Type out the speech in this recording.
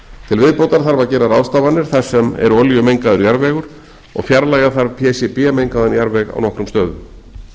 til viðbótar þarf að gera ráðstafanir þar sem er olíumengaður jarðvegur og fjarlægja þarf pcb mengaðan jarðveg á nokkrum stöðum